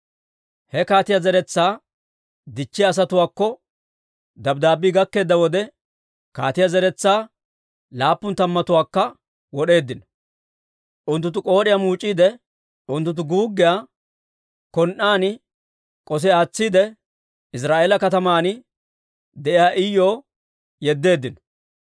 He kaatiyaa zeretsaa dichchiyaa asatuwaakko dabddaabbii gakkeedda wode, kaatiyaa zeretsaa laappun tammatuwaakka wod'eeddino. Unttunttu k'ood'iyaa muuc'iide, unttunttu guuggiyaa k'un"aan k'osi aatsiide, Iziraa'eela kataman de'iyaa Iyuw yeddeeddino.